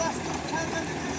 Allaha qurban olum.